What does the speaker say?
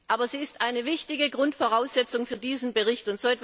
Aber sie ist eine wichtige Grundvoraussetzung für diesen Bericht.